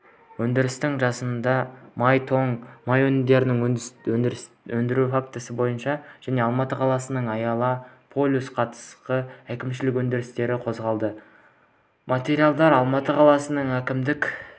өндірістің жасанды май-тоң май өнімдерін өндіру фактісі бойынша және алматы қаласының аяла плюс қатысты әкімшілік өндіріс қозғалды материалдар алматы қаласының әкімшілік